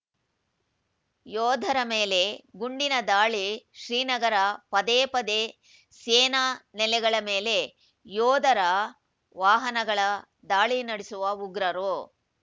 ಯೋಧರ ಮೇಲೆ ಗುಂಡಿನ ದಾಳಿ ಶ್ರೀನಗರ ಪದೇ ಪದೇ ಸೇನಾ ನೆಲೆಗಳ ಮೇಲೆ ಯೋಧರ ವಾಹನಗಳ ದಾಳಿ ನಡೆಸುವ ಉಗ್ರರು